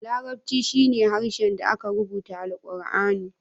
Larabci shine harshen da ake rubuta alqurani.